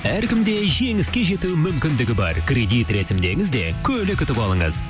әркімде жеңіске жету мүмкіндігі бар кредит рәсімдеңіз де көлік ұтып алыңыз